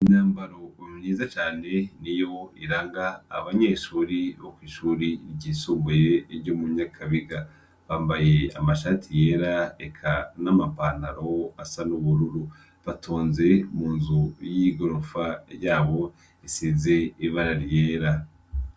Imyambaro myiza cane niyo iranga abanyeshuri bo kw'ishuri ryisumbuye ryo mu Nyakabiga, bambaye amashati yera eka n'amapantaro asa n'ubururu, batonze mu nzu y'igorofa yabo isize ibara ryera.